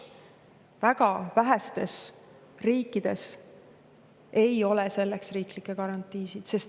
Väga vähestes riikides ei ole selleks riiklikke garantiisid.